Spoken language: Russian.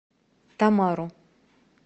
тамару